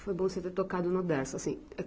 Foi bom você ter tocado no Dersa, assim.